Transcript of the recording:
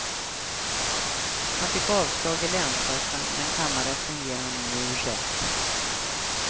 Han fick avslag i länsrätten, men kammarrätten ger honom nu rätt.